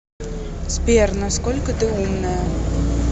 сбер на сколько ты умная